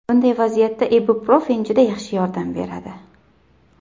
Bunday vaziyatda ibuprofen juda yaxshi yordam beradi.